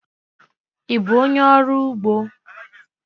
Ị bụ onyé ọrụ ugbo?